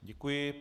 Děkuji.